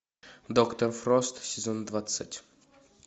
доктор фрост сезон двадцать